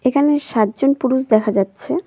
এখানে সাতজন পুরুষ দেখা যাচ্ছে।